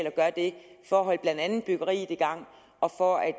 at gøre det for at holde blandt andet byggeriet i gang og for at